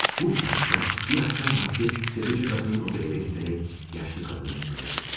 Bu inanc ilə bir axşam vaxtı təfəçi qadının evinə gedərək yaşlı qadını öldürür.